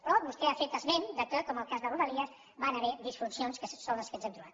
però vostè ha fet esment que com el cas de rodalies van haver hi disfuncions que són les que ens hem trobat